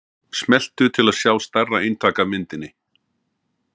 smelltu til að sjá stærra eintak af myndinni